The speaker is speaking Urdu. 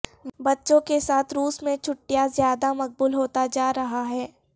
بچوں کے ساتھ روس میں چھٹیاں زیادہ مقبول ہوتا جا رہا ہے